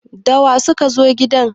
da wa suka zo gidan!